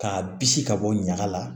K'a bisi ka bɔ ɲaga la